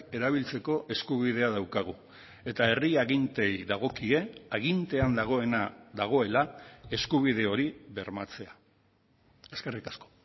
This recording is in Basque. erabiltzeko eskubidea daukagu eta herri aginteei dagokie agintean dagoena dagoela eskubide hori bermatzea eskerrik asko